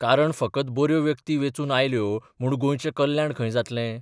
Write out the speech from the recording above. कारण फकत बर्यो व्यक्ती बेंचून आयल्यो म्हूण गोंयचें कल्याण खंय जातलें?